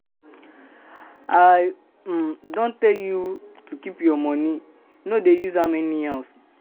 My sister, na all the money wey I save be dis oo.